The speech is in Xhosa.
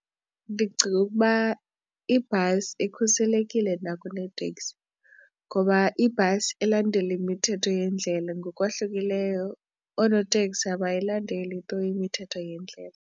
Ndicinga ukuba ibhasi ikhuselekile nakuneteksi ngoba ibhasi ilandela imithetho yendlela ngokwahlukileyo oonoteksi abayilandeli tu imithetho yendlela.